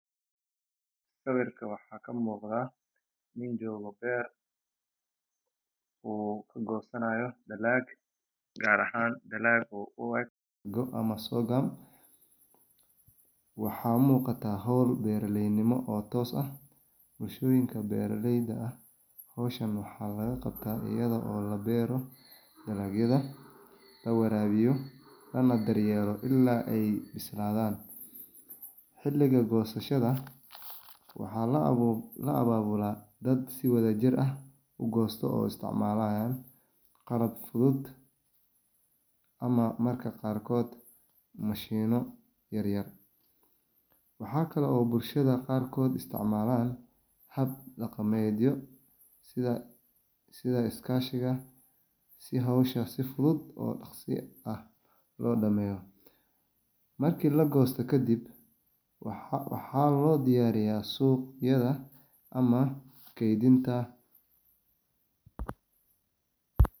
Sawirka waxa kam7gda, nin jogoo ber, oo kagosanayo dalaag, qaar ahan dalaga oo u eg, goo ama sodon, waxa muqata xool beraleynimo oo toos ah, bulshoyinka beraleyda ah, xowshaan maxa lagaqabta iyado oo laberooh dalaagyada, lawarabiyo, ama daryelo ila ay bisladan, xiliga gosashada, waxa laababula, dad si wadajir ah, ugosto oo isticmalayan qalab fudud, ama marka qaarkod ,mashino yar yar ,waxakale oo bulshada qaarkod isticmalan, xab daqamedyo sidha iskashiga, si xowshaa sii fudud oo dagsi ah lodameyo, marki lagoosto kadib waxa lodiyariya sugyada ama keydinta.